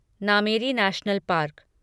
Nameri national park